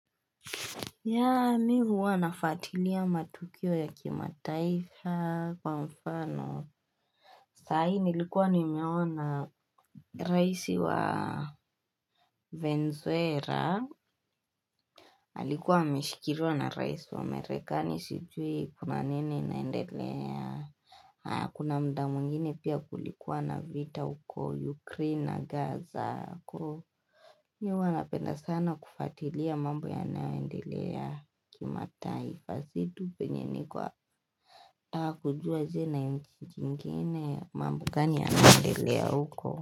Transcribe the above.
Yaani huwa nafuatilia matukio ya kimataifa kwa mfano. Sahi nilikuwa ni meona raisi wa Venezuela. Alikuwa ameshikiliwa na raisi wa merekani sijui kuna nini inaendelea. Kuna mda mwingine pia kulikuwa na vita huko Ukraine na Gaza. Sako mi huwa nanapenda sana kufatilia mambo yanaoendelea kimataifa situ penye ni kwa kujua nchi zingine mambo gani yanaendelea huko.